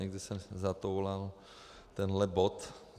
Někde se zatoulal tenhle bod.